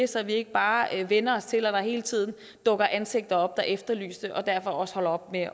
så vi ikke bare vænner os til at der hele tiden dukker ansigter op der er efterlyste og derfor også holder op med